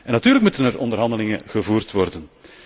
Natuurlijk moeten er onderhandelingen gevoerd worden.